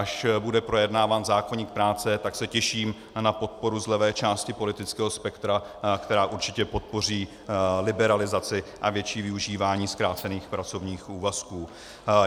Až bude projednáván zákoník práce, tak se těším na podporu z levé části politického spektra, která určitě podpoří liberalizaci a větší využívání zkrácených pracovních úvazků.